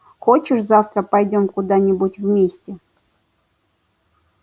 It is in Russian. хочешь завтра пойдём куда-нибудь вместе